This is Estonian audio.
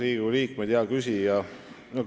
Hea küsija, aitäh teile küsimuse eest!